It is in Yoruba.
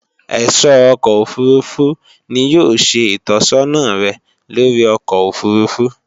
Ẹ̀sọ́ ọkọ̀ òfurufú ni yóò ṣe ìtọ́sọ́nà rẹ̀ lóri ọkọ̀ òfurufú